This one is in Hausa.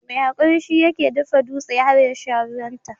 Mai hakuri shi yake dafa dutse har yasha ruwan ta.